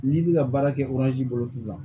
N'i bɛ ka baara kɛ bolo sisan